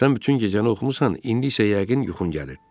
Sən bütün gecəni oxumusan, indi isə yəqin yuxun gəlir.